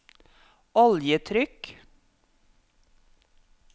oljetrykk